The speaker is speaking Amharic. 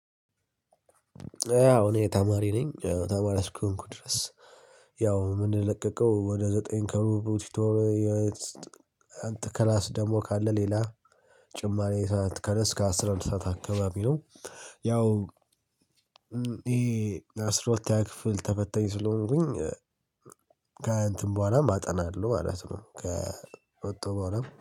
ያው እኔ ተማሪ ነኝ ተማሪ አስኮንኩ ድረስ ያው የምንለቀቀው ወደ ዘጠኝ መሽቶ አንተ ክላስ ደግሞ ካለ ሌላ ጭማሪ ሰዓት ከነስከ አስራ አንድ ሰዓት አካባቢ ነው ያው ይሄ አስራ ሁለተኛ ክፍል ተፈታኝ ስለሆንኩኝ ከእንትን በኋላም አጠናለሁ ማለት ነው ከወወጣሁ በኋላም።